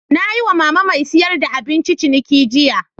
Na yi wa mama mai siyar da abinci ciniki jiya.